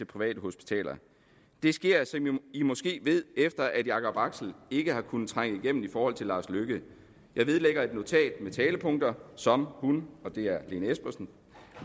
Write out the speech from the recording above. private hospitaler det sker som i måske ved efter jakob axel ikke har kunnet trænge igennem i forhold til lars løkke jeg vedlægger et notat med talepunkter som hun og det er lene espersen